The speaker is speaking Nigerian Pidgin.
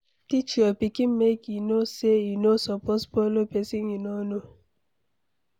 Teach your pikin make e know say e no suppose follow pesin e no know